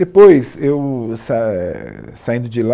Depois eu sa, saindo de lá,